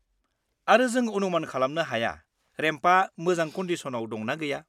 -आरो जों अनुमान खालामनो हाया रेम्पआ मोजां कनडिसनाव दं ना गैया।